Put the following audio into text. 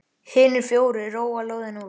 Hinir fjórir róa lóðina út.